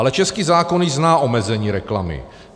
Ale český zákon již zná omezení reklamy.